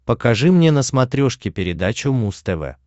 покажи мне на смотрешке передачу муз тв